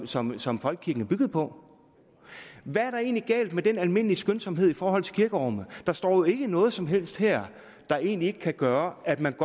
som som folkekirken er bygget på hvad er der egentlig galt med den almindelige skønsomhed i forhold til kirkerummet der står jo ikke noget som helst her der egentlig kan gøre at man